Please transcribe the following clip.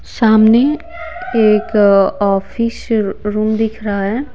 सामने एक office room दिख रहा है।